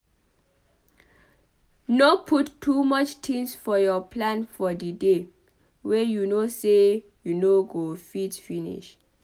No put too much things for your plan for di day wey you know sey you no go fit finish